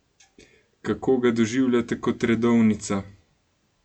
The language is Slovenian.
Kako ga doživljate kot redovnica?